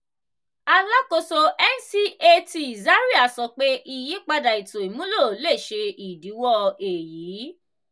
alakoso ncat zaria sọ pe iyipada eto imulo le ṣe idiwọ eyi.